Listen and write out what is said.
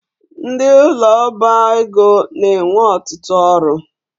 Ndị ụlọ ọba ego na-enwe ọtụtụ ọrụ